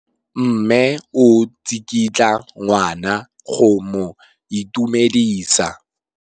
Mme o tsikitla ngwana go mo itumedisa.